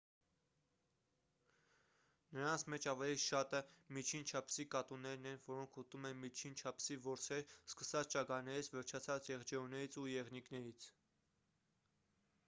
նրանց մեջ ավելի շատը միջին չափսի կատուներն են որոնք ուտում են միջին չափսի որսեր սկսած ճագարներից վերջացրած եղջերուներից ու եղնիկներից